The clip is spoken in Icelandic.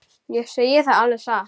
Ég segi það alveg satt.